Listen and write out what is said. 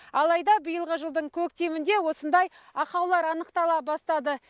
алайда биылғы жылдың көктемінде осындай ақаулар анықтала бастады